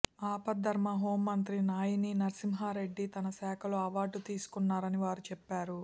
అపద్ధర్మ home మంత్రి నాయిని నర్సింహారెడ్డి తన శాఖలో అవార్డు తీసుకున్నారని వారు చెప్పారు